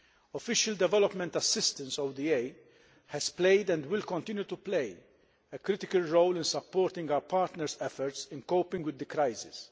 Official Development Assistance has played, and will continue to play, a critical role in supporting our partners' efforts in coping with the crisis.